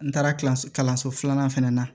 N taara so kalanso filanan fana na